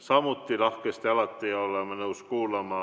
Samuti oleme alati lahkesti nõus kuulama,